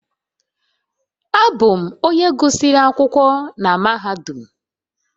Abụ m onye gụsịrị akwụkwọ na mahadum